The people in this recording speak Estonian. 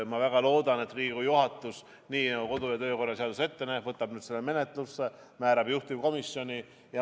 Ma väga loodan, et Riigikogu juhatus, nii nagu kodu- ja töökorra seadus ette näeb, võtab nüüd selle menetlusse ja määrab juhtivkomisjoni.